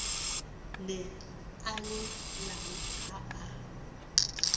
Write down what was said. ne a llelang ha a